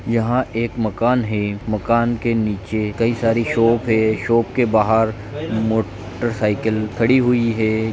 यहाँ एक मकान है मकान के निचे कई सारी शॉप है शॉप के बहार मो-टरसाइकल खड़ी हुई है।